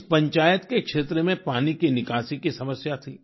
इस पंचायत के क्षेत्र में पानी की निकासी की समस्या थी